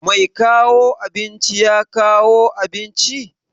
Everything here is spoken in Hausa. Mai kawo abinci ya kawo abinci?